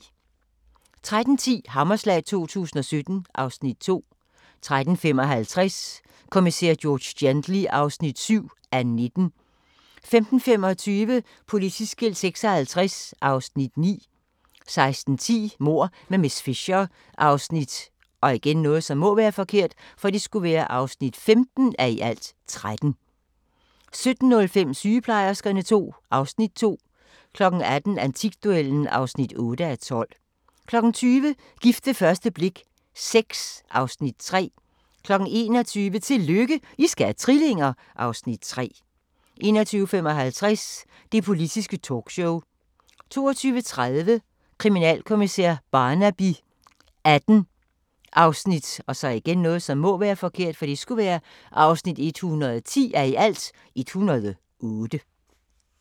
13:10: Hammerslag 2017 (Afs. 2) 13:55: Kommissær George Gently (7:19) 15:25: Politiskilt 56 (Afs. 9) 16:10: Mord med miss Fisher (15:13) 17:05: Sygeplejerskerne II (Afs. 2) 18:00: Antikduellen (8:12) 20:00: Gift ved første blik VI (Afs. 3) 21:00: Tillykke, I skal have trillinger! (Afs. 3) 21:55: Det Politiske Talkshow 22:30: Kriminalkommissær Barnaby XVIII (110:108)